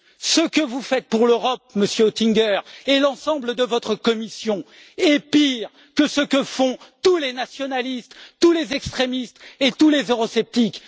Ce que vous faites pour l'Europe, Monsieur Oettinger, et l'ensemble de votre Commission, est pire que ce que font tous les nationalistes, tous les extrémistes et tous les eurosceptiques.